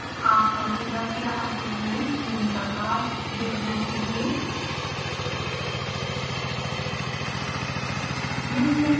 आपका पूरा किया असाइनमेंट निम्न प्रकार दिखना चाहिए